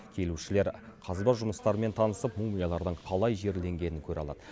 келушілер қазба жұмыстарымен танысып мумиялардың қалай жерленгенін көре алады